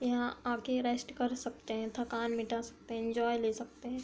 यहाँ आ के रेस्ट कर सकते है थकान मिटा सकते है एन्जॉय ले सकते है।